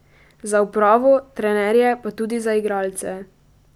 Za upravo, trenerje pa tudi za igralce.